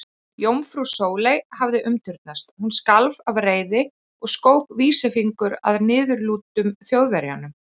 Jómfrú Sóley hafði umturnast, hún skalf af reiði og skók vísifingur að niðurlútum Þjóðverjanum.